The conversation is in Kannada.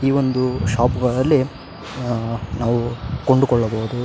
ಈ ಒಂದು ಶೋಪ್ ಗಳಲ್ಲಿ ನಾವು ಕೊಂಡುಕೊಳ್ಳಬಹುದು.